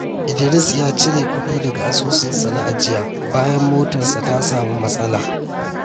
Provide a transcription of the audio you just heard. Idris ya cire kuɗi daga asusunsa na ajiya bayan motarsa ta samu matsala.